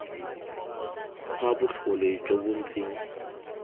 kgwa botlhole jo bo ntseng